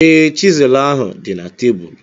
Ee, chisel ahu dị na tebụl.